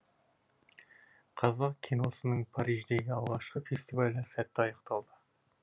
қазақ киносының париждегі алғашқы фестивалі сәтті аяқталды